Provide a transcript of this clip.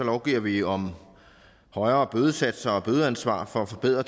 lovgiver vi om højere bødesatser og bødeansvar for at forbedre